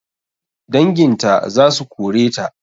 Danginta zasu koreta